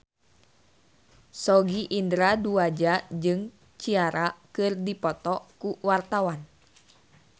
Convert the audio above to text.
Sogi Indra Duaja jeung Ciara keur dipoto ku wartawan